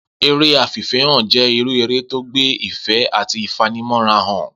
Eré afìfé̩hàn jé̩ irú eré tó gbé ìfé̩ àti ìfanimó̩ra hàn